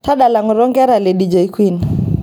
tadala ngoto nkera le dj queen